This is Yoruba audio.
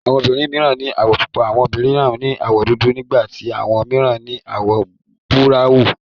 Àwọn obìnrin mìíran ní àwọ̀ pupa, àwọn mìíràn ní àwọ̀ dúdú, nígbà tí àwọn mìíràn ní àwọ̀ búráwùn.